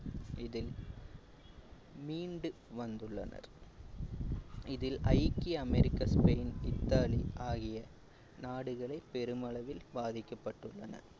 இதில் மீண்டு வந்துள்ளனர் இதில் ஐக்கிய அமெரிக்கன் ஸ்பெய்ன் இத்தாலி ஆகிய நாடுகளை பெருமளவில் பாதிக்கப்பட்டுள்ளன